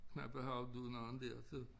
Knappe hovedet af nogen dér så